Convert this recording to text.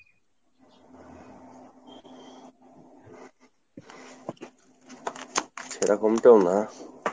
সেরকম টাও না